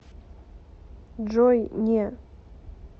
джой не